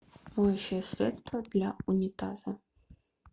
моющее средство для унитаза